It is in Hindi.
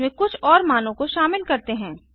इसमें कुछ और मानों को शामिल करते हैं